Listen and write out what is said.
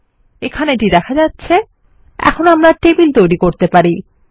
এখানে এটি দেখা যাচ্ছে এখন আমরা টেবিল তৈরী করতে পারি